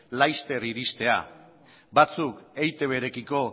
laster iristea batzuk eitbrekiko